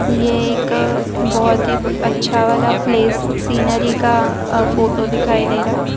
ये एक बहुत ही अच्छा वाला प्लेस सीनरी का फोटो दिखाई दे रहा।